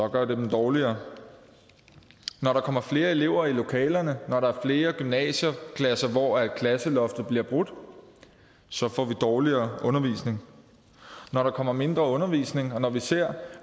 gør det dem dårligere når der kommer flere elever i lokalerne når der er flere gymnasieklasser hvor klasseloftet bliver brudt så får vi dårligere undervisning når der kommer mindre undervisning og når vi ser